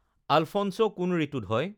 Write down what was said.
Alphonse' কোন ঋতুত হয়